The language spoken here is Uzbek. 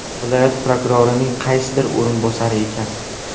Viloyat prokurorining qaysidir o‘rinbosari ekan.